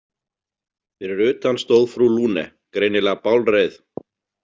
Fyrir utan stóð frú Lune, greinilega bálreið.